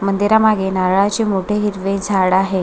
मंदिरामागे नारळाचे मोठे हिरवे झाड आहे.